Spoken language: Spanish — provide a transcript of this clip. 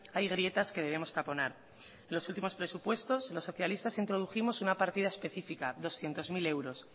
hay grietas que debemos taponar en los últimos presupuestos los socialistas introdujimos una partida específica doscientos mil euros